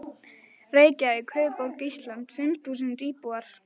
Reykjavík, höfuðborg Íslands, fimm þúsund íbúar.